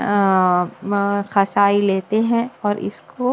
अंम खशाई लेते हैं और इसको--